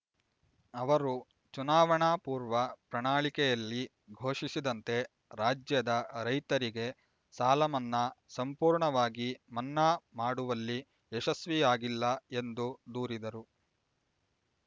ಅವರು ಚುನಾವಣಾ ಪೂರ್ವ ಪ್ರಣಾಳಿಕೆಯಲ್ಲಿ ಘೋಷಿಸಿದಂತೆ ರಾಜ್ಯದ ರೈತರಿಗೆ ಸಾಲಮನ್ನಾ ಸಂಪೂರ್ಣವಾಗಿ ಮನ್ನಾ ಮಾಡುವಲ್ಲಿ ಯಶಸ್ವಿಯಾಗಿಲ್ಲ ಎಂದು ದೂರಿದರು